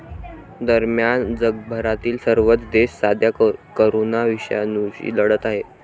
दरम्यान, जगभरातील सर्वच देश सध्या करोना विषाणूशी लढत आहेत.